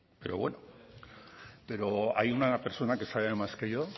pero bueno pero hay una persona que sabe más que yo